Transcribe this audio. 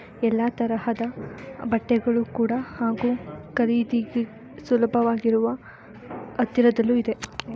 ಎಲ್ಲ ತರಹದ ಬಟ್ಟೆಗಳು ಕೂಡ ಹಾಗೂ ಖರೀದಿಗೆ ಸುಲಭವಾಗಿರುವ ಅತ್ತಿರದಲ್ಲೂ ಇದೆ.